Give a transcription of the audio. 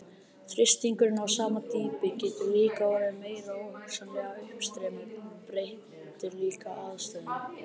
Þrýstingur á sama dýpi getur líka orðið meiri og hugsanlegt uppstreymi breytir líka aðstæðum.